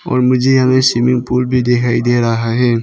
और मुझे यहां स्विमिंग पूल भी दिखाई दे रहा है।